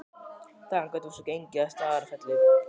Þaðan gátum við svo gengið að Staðarfelli.